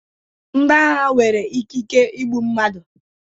Ndi agha nwere ikike igbu mmadụ